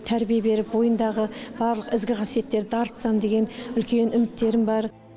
тәрбие беріп бойындағы барлық ізгі қасиеттерді дарытсам деген үлкен үміттерім бар